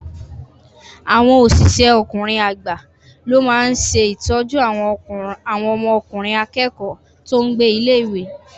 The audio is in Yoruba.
Àwọn osise ọkùnrin agba ló máa n se ìtọ́jú àwọn ọmọkùnrin akẹ́kọ̀ọ́ tó n gbé ilé-ìwé